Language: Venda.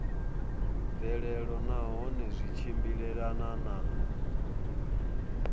mvelelo nahone zwi tshimbilelana na